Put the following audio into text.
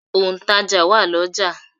Òǹtàjà wà l'ọ́jà.